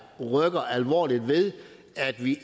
rykker alvorligt ved at vi